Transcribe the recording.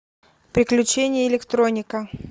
приключения электроника